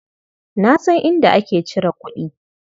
Na san inda ake cire kuɗi.